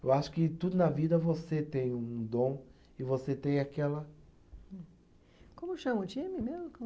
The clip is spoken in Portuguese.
Eu acho que tudo na vida você tem um dom e você tem aquela. Como chama o time mesmo?